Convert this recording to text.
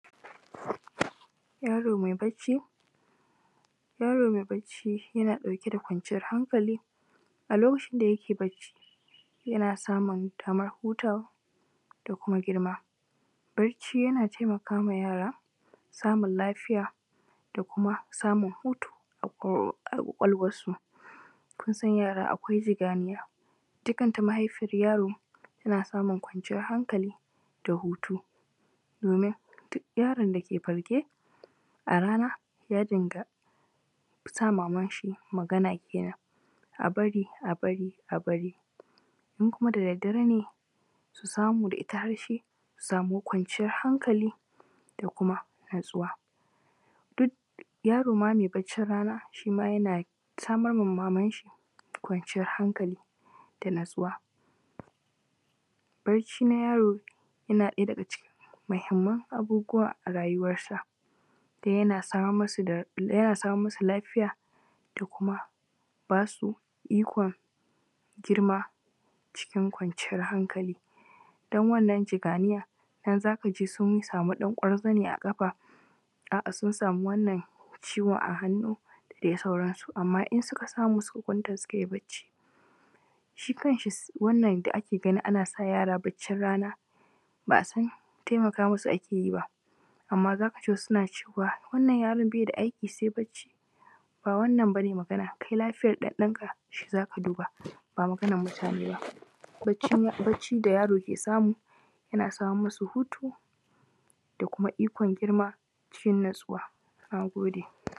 Yaro mai bacci, yaro mai bacci yana ɗauke da kwanciyar hankali. A lokacin da yake bacci yana samun damar hutawa da kuma girma. Barci yana taimakawa yara samun lafya da kuma samun hutu a ko ƙwaƙwalwarsu, kun san yara akwai jidaniya, ita kanta mahaifiyar yaro tana samun kwanciyar hankali da hutu. Domin duk yaron da ke farke a rana ya dinga sa mamanshi magana kenan, a bari, a bari, a babri,. In kuma da daddare ne su samu daga ita har shi su samu kwanciyar hankali da kuma natsuwa. Duk yaro ma mai baccin rana, shi ma yana samar ma mamanshi kwanciyar hankali, da natsuwa. Bacci na yaro yana ɗaya daga cikin muhimman abubuwa a rayuwarsa, dan yana samar masu da lafiya da kuma ba su ikon girma cikin kwanciyar hankali, dan wannan jaganiyan nan z aka ji sun sami ɗan ƙwarzane a ƙafa, a’a sun samu wannan ciwon a hannu da dai sauransu. Amma in suka samu suka kwanta sukai bacci, shi kanshi wannan da ake ganin ana sa yara baccin ran aba a san taimaka masu ake yi ba. Amma z aka ji wasu suna cewa wannan yaron bai da aiki sai bacci, ba wannan ba ne magana kai lafiyar ɗanɗanka za ga duba, ba maganan mutane ba. Bacci da yaro ke samu yana samar masu hutu da kuma ikon girma cikin natsuwa na gode.